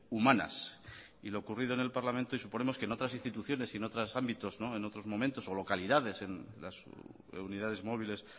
humanas y lo ocurrido en el parlamento y suponemos que en otras instituciones y en otros ámbitos y en otros momentos o localidades en las unidades móviles